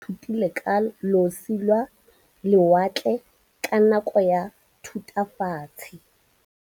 Baithuti ba ithutile ka losi lwa lewatle ka nako ya Thutafatshe.